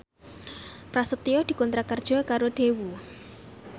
Prasetyo dikontrak kerja karo Daewoo